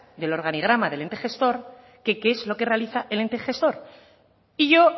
del organigrama del ente gestor que qué es lo que realiza el ente gestor y yo